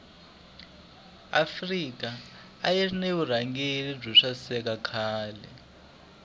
afrika ayirina vurhangeli bwosaseka khale